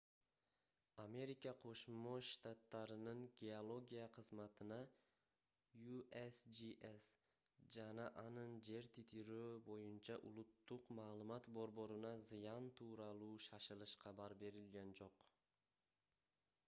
америка кошмо штаттарынын геология кызматына usgs жана анын жер титирөө боюнча улуттук маалымат борборуна зыян тууралуу шашылыш кабар берилген жок